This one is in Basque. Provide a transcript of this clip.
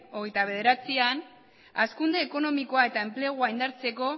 hogeita bederatzian hazkunde ekonomikoa eta enplegua indartzeko